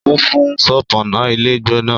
ó fún un ṣọpọnna ilé gbóná